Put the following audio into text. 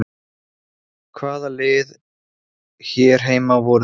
Hvaða lið hér heima voru það?